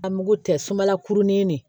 A mugu tɛ sumala kurunin de ye